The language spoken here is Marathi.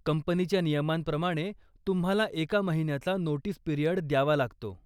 कंपनीच्या नियमांप्रमाणे तुम्हाला एका महिन्याचा नोटीस पिरियड द्यावा लागतो.